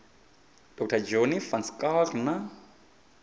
dr johnny van schalkwyk na